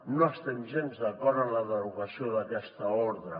no estem gens d’acord amb la derogació d’aquesta ordre